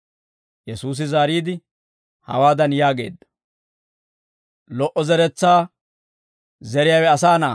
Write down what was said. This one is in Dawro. Yesuusi zaariide, hawaadan yaageedda; «Lo"o zeretsaa zeriyaawe Asaa Na'aa;